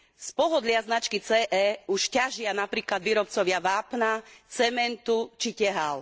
Z pohodlia značky CE už ťažia napríklad výrobcovia vápna, cementu či tehál.